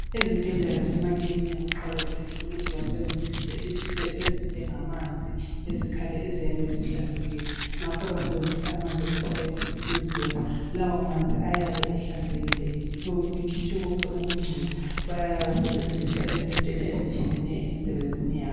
Ezibhendlela lasemakilinika kuqakathekile ukuthi basebenzise izinto ezinjengamanzi, izikhali eziyabe zihlanzekile ngakho basebenzisa amanzi okuthiwa Yi distilled water lawo manzi ayabe ehlanzekileyo ekhitshiwe konke okungcolileyo bayawasebenzisa izinto ezitshiyeneyo emsebenzini yabo.